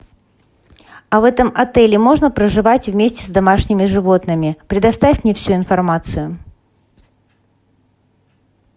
а в этом отеле можно проживать вместе с домашними животными предоставь мне всю информацию